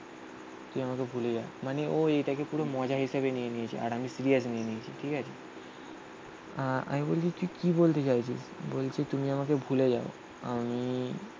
তুই আমাকে ভুলে যা. মানে ও এরা এটাকে পুরো মজা হিসেবে নিয়ে নিয়েছে. আর আমি সিরিয়াস নিয়ে নিয়েছি. ঠিক আছে. আহ আমি বলেছি তুই কি বলতে চাইছিস? বলছে তুমি আমাকে ভুলে যাও আমি